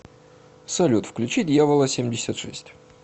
салют включи дьявола семьдесят шесть